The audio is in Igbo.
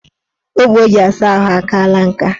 Ogbo o ji asa ahụ akaala nka.